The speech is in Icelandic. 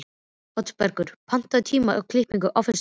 Oddbergur, pantaðu tíma í klippingu á föstudaginn.